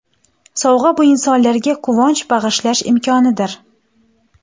Sovg‘a – bu insonlarga quvonch bag‘ishlash imkonidir.